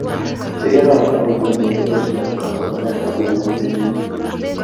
Cheyonotin kokimii eng sitosiek ab kasomanet ab bukut ne tilil